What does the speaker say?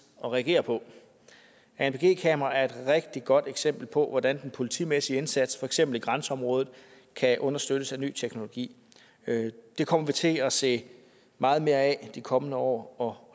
at reagere på anpg kameraer er et rigtig godt eksempel på hvordan den politimæssige indsats for eksempel i grænseområdet kan understøttes af ny teknologi det kommer vi til at se meget mere af i de kommende år og